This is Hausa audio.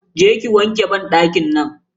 Je ki ki wanke banɗakin nan.